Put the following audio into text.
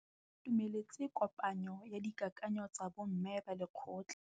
Ba itumeletse kôpanyo ya dikakanyô tsa bo mme ba lekgotla.